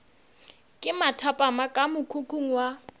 ke mathapama ka mokhukhung wa